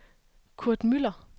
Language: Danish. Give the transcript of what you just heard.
Kurt Müller